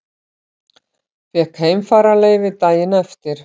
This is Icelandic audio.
Fékk heimfararleyfi daginn eftir.